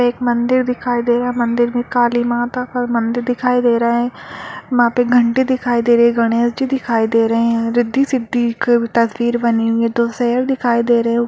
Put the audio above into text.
एक मंदिर दिखाई दे रहा है मंदिर में काली माता का मंदिर दिखाई दे रहा है वहाँ पे घंटी दिखाई दे रही है गणेश जी दिखाई दे रहे है रिद्धि-सिद्धि की तस्वीर बनी हुई है दो शेर दिखाई दे रहे --